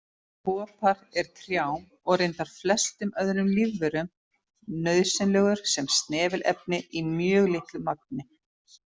Kopar er trjám, og reyndar flestum öðrum lífverum, nauðsynlegur sem snefilefni í mjög litlu magni.